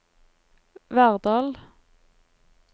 Verdal